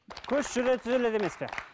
көш жүре түзеледі емес пе